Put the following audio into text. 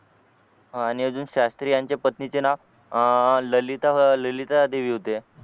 हा आणि अजून शास्त्री यांच्या पत्नीचे नाव आह अह ललिता अह ललिता देवी होते